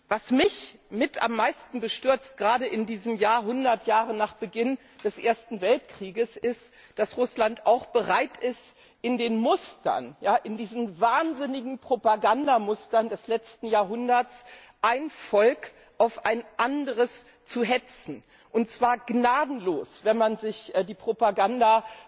Was mich mit am meisten bestürzt, gerade in diesem Jahr 100 Jahre nach Beginn des Ersten Weltkriegs ist, dass Russland auch bereit ist, in diesen wahnsinnigen Propagandamustern des letzten Jahrhunderts ein Volk auf ein anderes zu hetzen, und zwar gnadenlos, wenn man sich die Propaganda